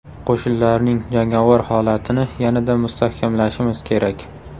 Qo‘shinlarning jangovar holatini yanada mustahkamlashimiz kerak.